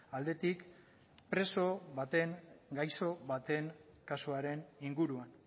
aldetik preso baten gaixo baten kasuaren inguruan